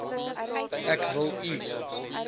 ek wil u